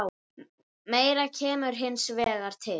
Meira kemur hins vegar til.